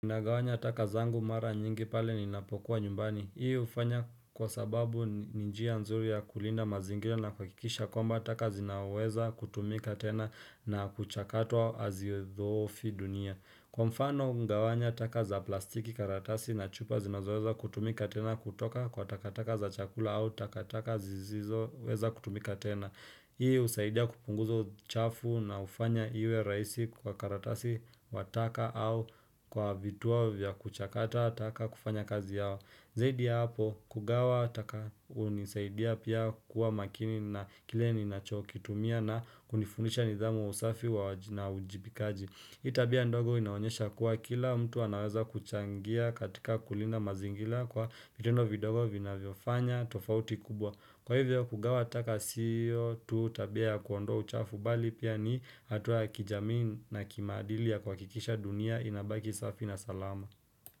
Nagawanya taka zangu mara nyingi pale ninapokuwa nyumbani. Hii ufanya kwa sababu ni njia nzuri ya kulinda mazingira na kuhakikisha kwamba taka zinaweza kutumika tena na kuchakatwa azidhoofi dunia. Kwa mfano, hugawanya taka za plastiki karatasi na chupa zinaweza kutumika tena kutoka kwa takataka za chakula au takataka zizizo weza kutumika tena. Hii usaidia kupunguza uchafu na ufanya iwe rahisi kwa karatasi wa taka au kwa vituo vya kuchakata taka kufanya kazi yao Zaidi ya hapo kugawa taka unisaidia pia kuwa makini na kile ninachokitumia na kunifundisha nidhamu usafi na ujibikaji Hii tabia ndogo inaonyesha kuwa kila mtu anaweza kuchangia katika kulinda mazingira kwa vitendo vidogo vinavyo fanya tofauti kubwa Kwa hivyo kugawa taka sio tu tabia ya kuondoa uchafu bali pia ni hatua ya kijamii na kimaadili ya kuhakikisha dunia inabaki safi na salama.